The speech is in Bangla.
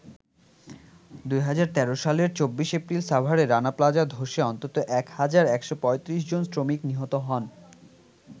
২০১৩ সালের ২৪ এপ্রিল সাভারে রানা প্লাজা ধসে অন্তত ১ হাজার ১৩৫ জন শ্রমিক নিহত হন।